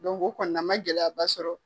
o kɔni na n ma gɛlɛya ba sɔrɔ.